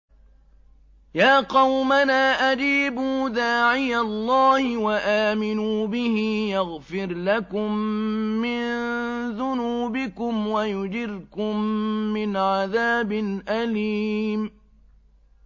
يَا قَوْمَنَا أَجِيبُوا دَاعِيَ اللَّهِ وَآمِنُوا بِهِ يَغْفِرْ لَكُم مِّن ذُنُوبِكُمْ وَيُجِرْكُم مِّنْ عَذَابٍ أَلِيمٍ